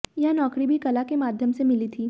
यह नौकरी भी कला के माध्यम से मिली थी